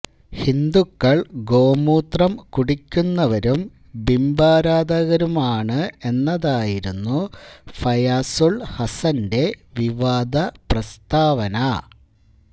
ഹിന്ദുക്കൾ ഗോമൂത്രം കുടിക്കുന്നവരും ബിംബാരാധകരുമാണ് എന്നതായിരുന്നു ഫയാസുൾ ഹസ്സന്റെ വിവാദ പ്രസ്താവന